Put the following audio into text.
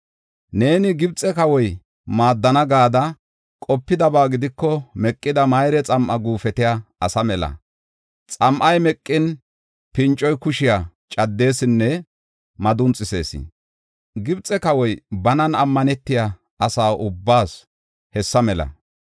Neeni ‘Gibxe kawoy tana maaddana’ gada qopidaba gidiko meqida mayre xam7a guufetiya asa mela. Xam7ay meqin pincoy kushiya caddesinne madunxisees. Gibxe kawoy banan ammanetiya asa ubbaas hessa mela.